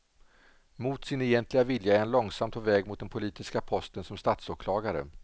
Mot sin egentliga vilja är han långsamt på väg mot den politiska posten som statsåklagare.